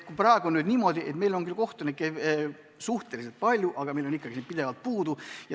Praegu on niimoodi, et meil on küll kohtunikke suhteliselt palju, aga neid on ikkagi pidevalt puudu.